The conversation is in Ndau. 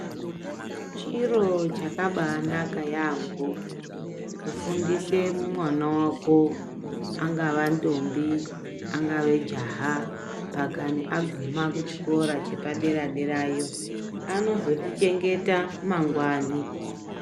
Chiro chakabaanaka yampho kufundise mwana wako. Angava ndombi, angave jaha pakani aguma pachikora chepadera- derayo anozotichengeta mangwani.